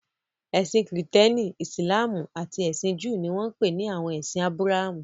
Ẹ̀sìn Kìrìtẹ́ẹ́nì, Ìsìlámù àti ẹ̀sìn Júù ni wọ́n ń pè ní àwọn ẹ̀sìn Ábúráhámù.